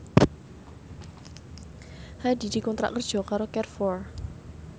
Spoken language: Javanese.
Hadi dikontrak kerja karo Carrefour